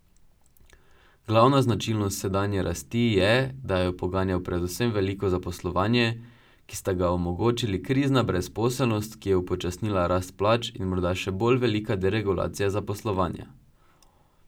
Glavna značilnost sedanje rasti je, da jo poganja predvsem veliko zaposlovanje, ki sta ga omogočili krizna brezposelnost, ki je upočasnila rast plač, in morda še bolj velika deregulacija zaposlovanja.